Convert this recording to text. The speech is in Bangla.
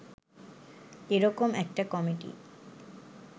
এরকম একটা কমিটি